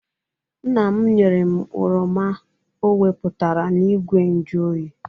Nna m nyere m oroma o weputara n'igwe njụ oyi.